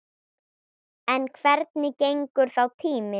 En hvernig gengur þá tíminn?